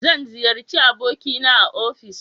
zan ziyarci aboki na a ofis